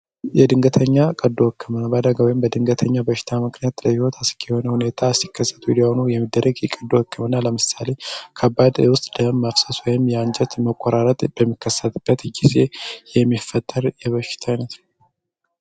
የድንገተኛ ቀዱ ወክምና በአደጋዊም በድንገተኛው በሽታ ምክንያት ለይወት አስኪ የሆን ሁኔታ ሲከሰቱ የሊያሆኑ የሚደረግ የቀዱ ወክምና ለምሳሌ ከባድ ውስጥ ደም መፍሰስ ወይም የአንጀት መቆራረት በሚከሳትበት ጊዜ የሚፈተር የበሽታይ ነትነ